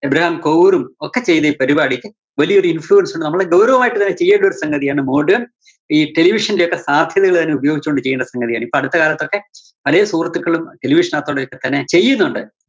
Abraham കോവൂരും ഒക്കെ ചെയ്ത ഈ പരിപാടിക്ക് വലിയൊരു influence ഉണ്ട്. നമ്മള് ഗൗരവമായിട്ട് തന്നെ ചെയ്യേണ്ട ഒരു സംഗതിയാണ് modern ഈ television ന്റെ ഒക്കെ സാധ്യതകള് അതിന് ഉപയോഗിച്ചുകൊണ്ട് ചെയ്യേണ്ട സംഗതിയാണ്. ഇപ്പോ അടുത്ത കാലത്തൊക്കെ പലേ സുഹൃത്തുക്കളും television നകത്തോടെയൊക്കെ തന്നെ ചെയ്യുന്നുണ്ട്.